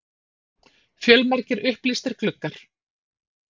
Fjölmargir upplýstir gluggar.